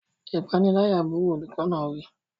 Ìpániláyà burú! Olùkọ́ náà wí.